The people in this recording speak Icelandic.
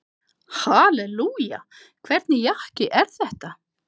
Hallelúja, hvernig jakki er þetta?